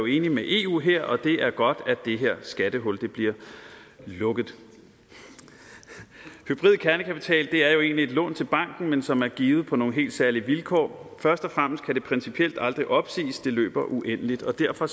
enige med eu her og det er godt at det her skattehul bliver lukket hybrid kernekapital er jo egentlig et lån til banken men som er givet på nogle helt særlige vilkår først og fremmest kan det principielt aldrig opsiges det løber uendeligt og derfor